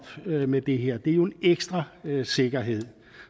med det her det er jo en ekstra sikkerhed